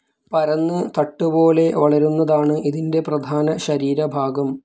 പരന്ന് തട്ടുപോലെ വളരുന്നതാണ് ഇതിന്റെ പ്രധാന ശരീരഭാഗം.